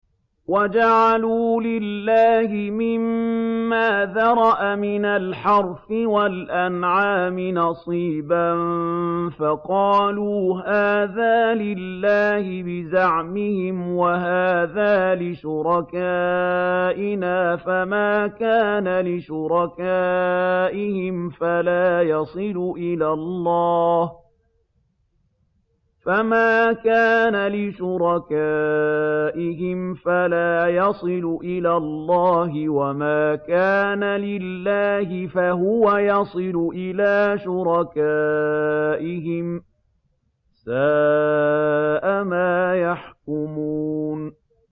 وَجَعَلُوا لِلَّهِ مِمَّا ذَرَأَ مِنَ الْحَرْثِ وَالْأَنْعَامِ نَصِيبًا فَقَالُوا هَٰذَا لِلَّهِ بِزَعْمِهِمْ وَهَٰذَا لِشُرَكَائِنَا ۖ فَمَا كَانَ لِشُرَكَائِهِمْ فَلَا يَصِلُ إِلَى اللَّهِ ۖ وَمَا كَانَ لِلَّهِ فَهُوَ يَصِلُ إِلَىٰ شُرَكَائِهِمْ ۗ سَاءَ مَا يَحْكُمُونَ